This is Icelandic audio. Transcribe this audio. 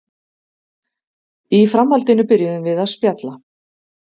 Í framhaldinu byrjuðum við að spjalla